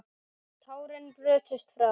Tárin brutust fram.